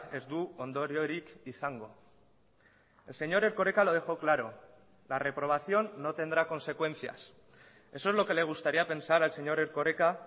ez du ondoriorik izango el señor erkoreka lo dejó claro la reprobación no tendrá consecuencias eso es lo que le gustaría pensar al señor erkoreka